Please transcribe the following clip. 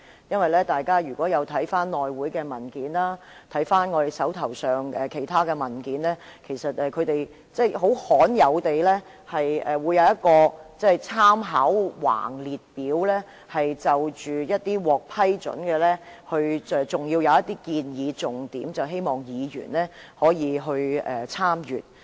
如果大家翻看內務委員會的文件和我們手上的其他文件，會看到一張很罕有的供參考的橫列表，載列獲批准提出的修訂，還有一些建議重點，供議員參閱。